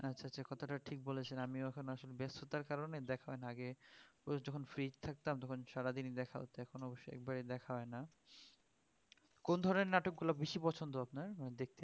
আচ্ছা আচ্ছা কথাটা ঠিক বলেছেন আমিও আসলে এখন ব্যস্ততার কারণে দেখা হয়না আগে প্রচুর যখন free থাকতাম তখন সারাদিনই দেখা হত এখন অবশ্য একবারে দেখা হয়না কোন ধরনের নাটকগুলো বেশি পছন্দ আপনার? ~